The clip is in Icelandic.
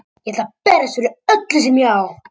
Ég ætla að berjast fyrir öllu sem ég á.